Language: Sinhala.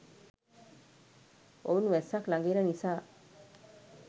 ඔවුන් වැස්සක් ලඟ එන නිසා